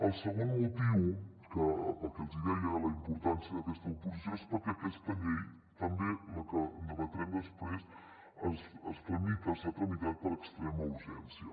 el segon motiu pel que els deia de la importància d’aquesta oposició és perquè aquesta llei també la que debatrem després es tramita s’ha tramitat per extrema urgència